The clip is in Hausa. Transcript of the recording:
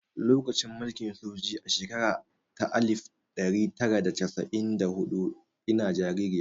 Lokacin mulkin sojoji a shekara ta alif ɗari tara da casa'in da huɗu ina jaririya